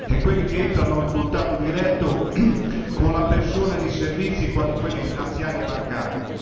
e quelli che entrano in contatto diretto con la persona di servizi quali quelli finanziari e bancari.